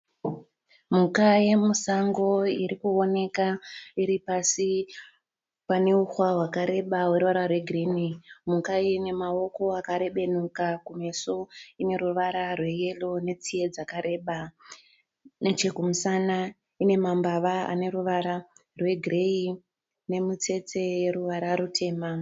Mhuka yemusango iri kuwoneka iri pasi pane uhwa hwakareba hune ruvara rwegirinhi. Mhuka iyi ine maoko akarebenuka. Kumeso ine ruvara rweyero netsiye dzakareba. Nechekumusana ine mambava ane ruvara rwegireyi nemitsetse yeruvara rutema.